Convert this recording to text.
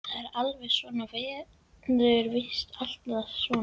Það er alltaf svona og verður víst alltaf svona.